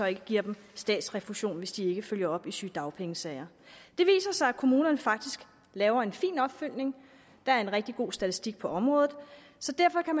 ikke giver dem statsrefusion hvis de ikke følger op i sygedagpengesager det viser sig at kommunerne faktisk laver en fin opfølgning der er en rigtig god statistik på området så derfor kan